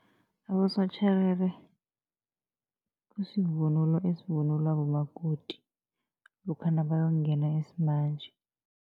Abosotjherere kusivunulo esivunulo bomakoti, lokha nabayongena isimanje.